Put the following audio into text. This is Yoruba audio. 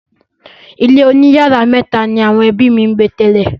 Ilé oníyàrá mẹ́tà ni àwọn ẹbí mi gbé tẹ́lẹ̀.